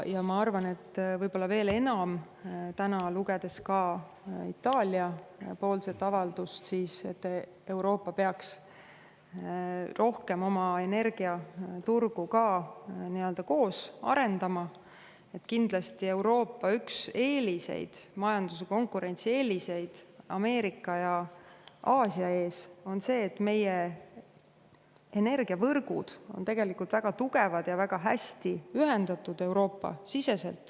Ja ma arvan, võib-olla veel enam, täna lugedes ka Itaalia avaldust selle kohta, et Euroopa peaks rohkem oma energiaturgu koos arendama, et Euroopa üks majanduse konkurentsieeliseid Ameerika ja Aasia ees on see, et meie energiavõrgud on väga tugevad ja Euroopa sees hästi ühendatud.